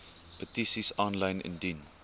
petisies aanlyn indien